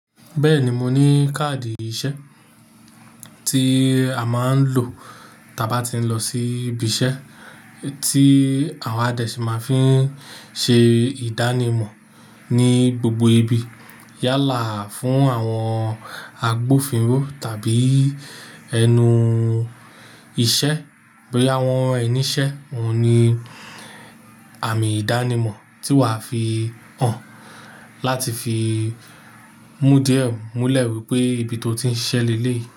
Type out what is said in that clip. Bẹ́ẹ̀ni moní káàdì iṣẹ́ tí a máa ń lò tábá ti ń lọ sí ibi iṣẹ́ tí a dẹ̀ sì má fin ṣe ìdánimọ̀ ní gbogbo ibi. Yálà fún àwọn agbófinró tàbí ẹnu iṣẹ́ bóyá wọ́n rán ẹ ni ìṣe, ọ́un ní àmì ìdánimọ̀ tí wà á fi hàn láti fi mú di ẹ múlẹ̀ wípé ibi tó ti ń ṣiṣẹ́ lèléyì.